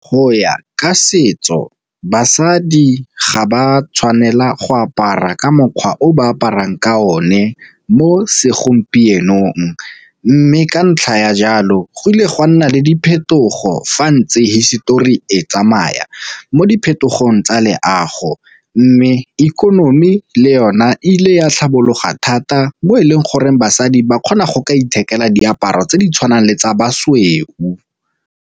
Go ya ka setso basadi ga ba tshwanela go apara ka mokgwa o ba aparang ka o ne mo segompienong, mme ka ntlha ya jalo go ile gwa nna le diphetogo fa tse hisetori e tsamaya mo di phetogong tsa leago. Mme ikonomi le yone e ile ya tlhabologo thata bo e leng gore basadi ba kgona go ka ithekela diaparo tse di tshwanang le tsa basweu.